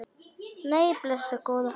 Nei, blessuð góða.